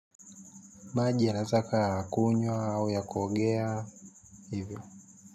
Maji yanaweza yakawa ya kunywa au ya kuogea hivyo.